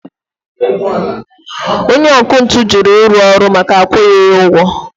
Onye ọkụ ntụ juru iru ọrụ maka na akwughi ya ụgwọ